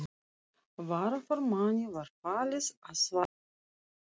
Varaformanni var falið að svara bréfi þessu.